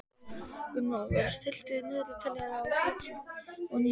Gunnólfur, stilltu niðurteljara á sjötíu og níu mínútur.